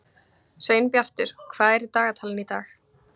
Sveinbjartur, hvað er í dagatalinu í dag?